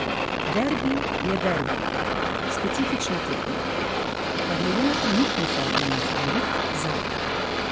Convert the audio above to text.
Derbi je derbi, specifična tekma, a glede na trenutno formo je favorit Zagreb.